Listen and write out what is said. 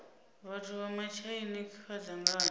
vhathu vha matshaina kha dzangano